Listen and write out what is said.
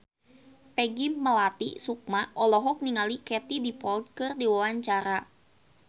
Peggy Melati Sukma olohok ningali Katie Dippold keur diwawancara